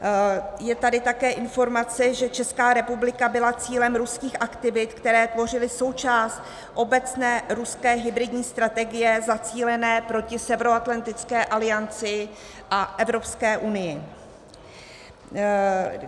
Je tady také informace, že Česká republika byla cílem ruských aktivit, které tvořily součást obecné ruské hybridní strategie zacílené proti Severoatlantické alianci a Evropské unii.